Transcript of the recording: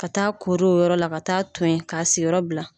Ka taa kori o yɔrɔ la ka taa ton yen k'a sigiyɔrɔ bila